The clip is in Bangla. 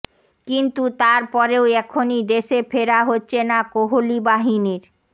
কিন্তু তারপরেও এখনই দেশে ফেরা হচ্ছে না কোহলি বাহিনীর